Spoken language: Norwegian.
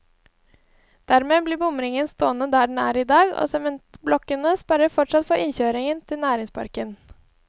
Dermed blir bomringen stående der den er i dag, og sementblokkene sperrer fortsatt for innkjøring til næringsparken.